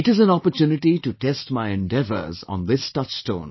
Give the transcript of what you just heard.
It is an opportunity to test my endeavors on this touchstone